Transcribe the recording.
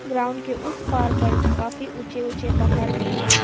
Ground के उसे पार पर काफी ऊंचे ऊंचे पहाड़ भी है।